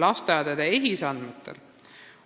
EHIS-e andmetest